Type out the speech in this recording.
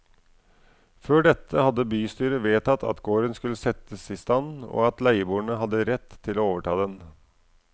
Før dette hadde bystyret vedtatt at gården skulle settes i stand og at leieboerne hadde rett til å overta den.